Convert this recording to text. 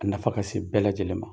A nafa ka sen bɛɛ lajɛlen ma.